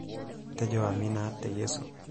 tejo amina te Yesu